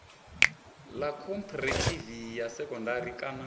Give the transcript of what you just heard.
ḽa khophorethivi ya sekondari kana